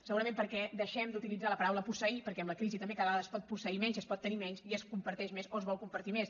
segurament perquè deixem d’utilitzar la paraula posseir perquè amb la crisi també ca·da vegada es pot posseir menys es pot tenir menys i es comparteix més o es vol compartir més